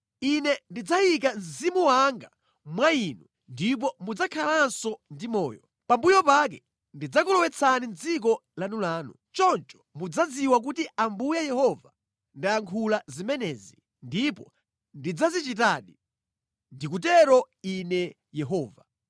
Ine ndidzayika Mzimu wanga mwa inu ndipo mudzakhalanso ndi moyo. Pambuyo pake ndidzakulowetsani mʼdziko lanulanu. Choncho mudzadziwa kuti Ambuye Yehova ndayankhula zimenezi, ndipo ndidzazichitadi. Ndikutero Ine Yehova!’ ”